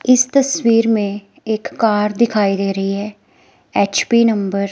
इस तस्वीर में एक कार दिखाई दे रही है एच_पी नंबर --